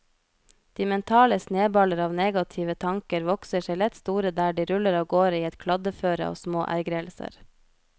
De mentale sneballer av negative tanker vokser seg lett store der de ruller av gårde i et kladdeføre av små ergrelser.